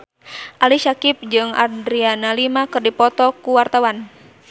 Ali Syakieb jeung Adriana Lima keur dipoto ku wartawan